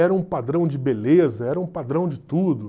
Era um padrão de beleza, era um padrão de tudo.